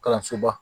Kalansoba